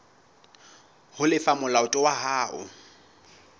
ho lefa molato wa hao